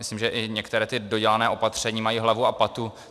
Myslím, že i některá ta dodělaná opatření mají hlavu a patu.